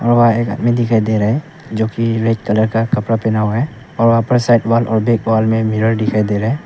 और एक आदमी दिखाई दे रहा है जो कि रेड कलर का कपड़ा पहना हुआ है और वहां पर साइड वाल बिग वाल में मिरर दिखाई दे रहा है।